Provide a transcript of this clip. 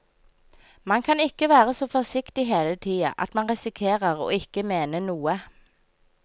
Man kan ikke være så forsiktig hele tia at man risikerer å ikke mene noe.